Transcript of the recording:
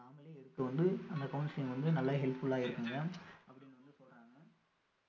நாமளே எடுக்க வந்து அந்த counselling வந்து நல்லா helpful ஆ இருக்குங்க அப்படின்னு வந்து சொல்றாங்க